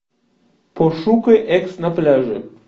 пошукай экс на пляже